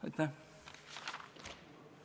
Aitäh!